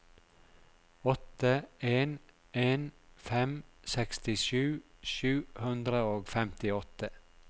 åtte en en fem sekstisju sju hundre og femtiåtte